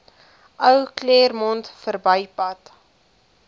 ou claremont verbypad